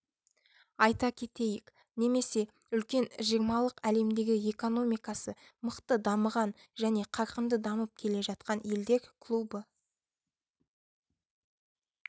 айта кетейік немесе үлкен жиырмалық әлемдегі экономикасы мықты дамыған және қарқынды дамып келе жатқан елдер клубы